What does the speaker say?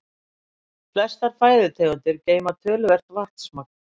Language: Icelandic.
Flestar fæðutegundir geyma töluvert vatnsmagn.